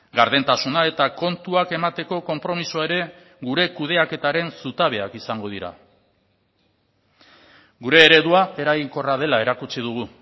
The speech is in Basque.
gardentasuna eta kontuak emateko konpromisoa ere gure kudeaketaren zutabeak izango dira gure eredua eraginkorra dela erakutsi dugu